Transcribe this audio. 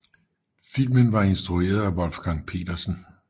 Filmen var instrueret af Wolfgang Petersen